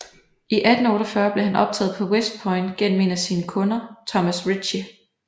I 1848 blev han optaget på West Point gennem en af sine kunder Thomas Ritchey